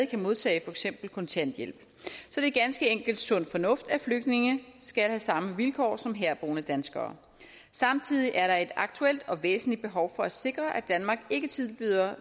kan modtage for eksempel kontanthjælp så det er ganske enkelt sund fornuft at flygtninge skal have samme vilkår som herboende danskere samtidig er der et aktuelt og væsentligt behov for at sikre at danmark ikke tilbyder